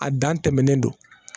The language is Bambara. A dan tɛmɛnen don